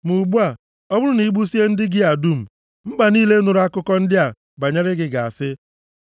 Ma ugbu a, ọ bụrụ na i gbusie ndị gị a dum, mba niile nụrụla akụkọ ndị a banyere gị ga-asị,